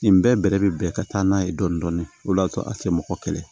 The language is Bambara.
Nin bɛɛ bɛrɛ bɛ bɛn ka taa n'a ye dɔɔni dɔɔni o de y'a to a tɛ mɔgɔ kɛlɛ